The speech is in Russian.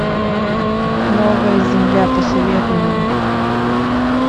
новая земля посоветуй мне